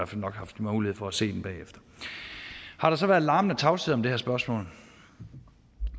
fald nok haft mulighed for at se den bagefter har der så været larmende tavshed om det her spørgsmål